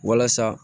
Walasa